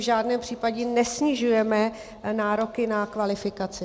V žádném případě nesnižujeme nároky na kvalifikaci.